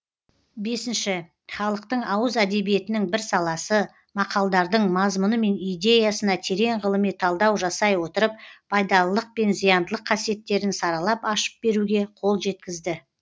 бесінші халықтың ауыз әдебиетінің бір саласы мақалдардың мазмұны мен идеясына терең ғылыми талдау жасай отырып пайдалылық пен зияндылық қасиеттерін саралап ашып беруге қол жеткізді